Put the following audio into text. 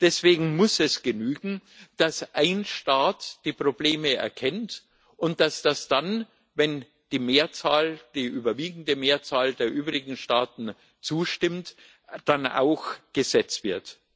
Deswegen muss es genügen, dass ein Staat die Probleme erkennt und dass das dann, wenn die überwiegende Mehrzahl der übrigen Staaten zustimmt, auch Gesetz wird.